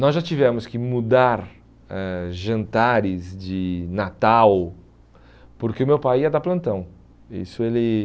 Nós já tivemos que mudar eh jantares de Natal, porque o meu pai ia dar plantão. Isso ele